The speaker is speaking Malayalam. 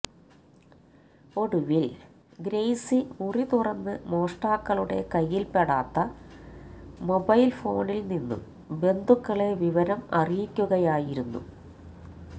ഒടുവില് ഗ്രേസി മുറി തുറന്ന് മോഷ്ടാക്കളുടെ കയ്യില് പെടാത്ത മൊബൈല് ഫോണില് നിന്നും ബന്ധുക്കളെ വിവരം അറിയിക്കുകകയായിരുന്നു